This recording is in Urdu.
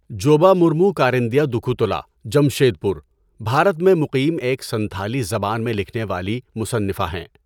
جوبا مُورمُو کارندیہ دُکھُو تولا، جمشیدپور، بھارت میں مقیم ایک سنتھالی زبان میں لکھنے والی مصنفہ ہے۔